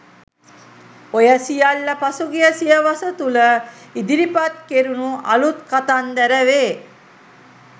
ඔය සියල්ල පසුගිය සියවස තුල ඉදිරිපත් කෙරුණු අලුත් “කතන්දර” වේ.